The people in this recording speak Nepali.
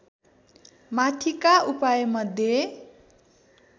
माथिका उपायमध्ये